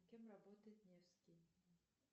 кем работает невский